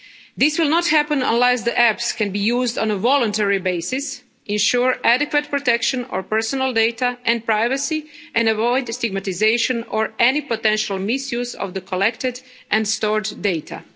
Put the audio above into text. This will not happen unless the apps can be used on a voluntary basis, ensure adequate protection of personal data and privacy and avoid the stigmatisation or any potential misuse of the collected and stored data.